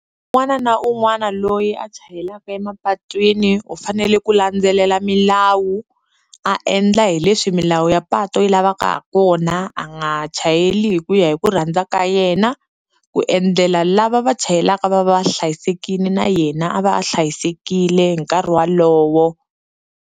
Un'wana na un'wana loyi a chayelaka emapatwini u fanele ku landzelela milawu a endla hi leswi milawu ya patu yi lavaka ha kona a nga chayeli hi ku ya hi ku rhandza ka yena, ku endlela lava va chayelaka va va va hlayisekini na yena a va a hlayisekile hi nkarhi walowo.